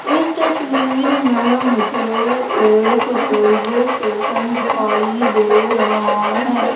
इस तस्वीर में मुझे एक रेलवे स्टेशन दिखाई दे रहा है।